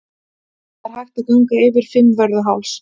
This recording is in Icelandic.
Það er hægt að ganga yfir Fimmvörðuháls.